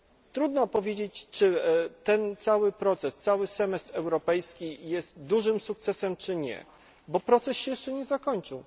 Trudno powiedzieć, czy ten cały proces, cały semestr europejski jest dużym sukcesem czy nie, bo proces się jeszcze nie zakończył.